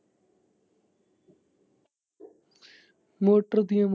Motor ਦੀਆਂ।